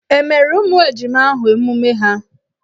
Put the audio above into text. E meere ụmụ ejima ahụ emume ha?